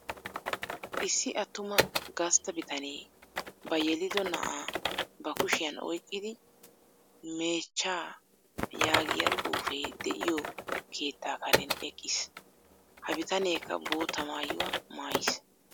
Issi attuma gastta bitanee ba yelido na'aa ba kushshiyaan oyqqidi meechchaa yaagiyaa xuufee de'iyoo keettaa karen eqqiis. Ha bitaneekka bootta maayuwaa maayiis.